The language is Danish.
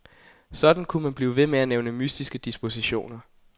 Sådan kunne man blive ved med at nævne mystiske dispositioner.